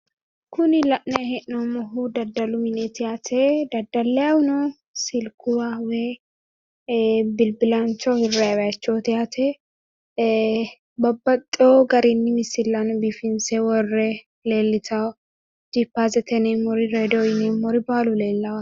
Kuni la'nanni hee'noommohu daddalu mineeti yaate . Daddallayihuno silkuwa woy ee bilbilaancho hirranni yaate. Ee babbaxxewo garinni misillanni biifinse worroy leellitawo jipaasete yineemmori redio yineemmori baalu leellawo yaate.